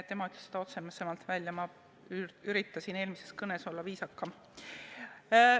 Tema ütles selle otsesemalt välja, ma üritasin eelmises kõnes olla viisakam.